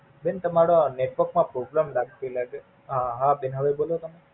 બેન તમારા Network માં Problem લગતી લાગે, હા બેન હવે બોલોને